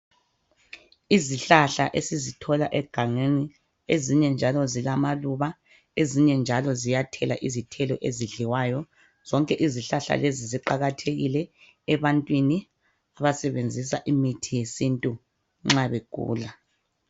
Izihlahla esizithola egangeni, ezibye njalo zilamaluba, ezinye njalo ziyathela izithelo ezidliwayo. Zonke ezihlahla lezi ziqakathekile ebantwini abasebenzisa imithi yesintu nxa begula.